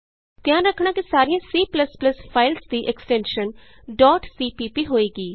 ਧਿਆਨ ਰਖਣਾ ਕਿ ਸਾਰੀਆਂ C ਫਾਈਲਜ਼ ਦੀ ਐਕਸਟੈਨਸ਼ਨ cpp ਹੋਏਗੀ